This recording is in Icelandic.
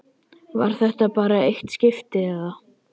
Var þetta bara eitt skipti, eða.